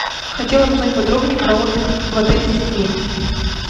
хотела бы узнать подробнее про отдых в отеле с детьми